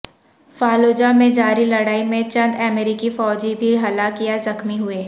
Fallujah میں جاری لڑائی میں چند امریکی فوجی بھی ہلاک یا زخمی ہوئے